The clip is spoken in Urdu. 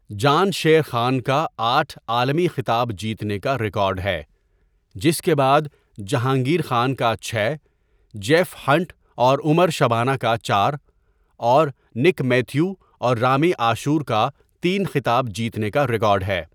جان شیر خان کا آٹھ عالمی خطاب جیتنے کا ریکارڈ ہے، جس کے بعد جہانگیر خان کا چھ، جیف ہنٹ اور عمر شبانہ کا چار، اور نک میتھیو اور رامی عاشور کا تین خطاب جیتنے کا ریکارڈ ہے۔